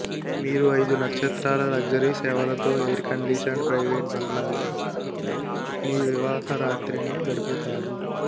మీరు ఐదు నక్షత్రాల లగ్జరీ సేవలతో ఎయిర్ కండిషన్డ్ ప్రైవేట్ బంగ్లాలో మీ వివాహ రాత్రిని గడుపుతారు